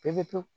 Pepewu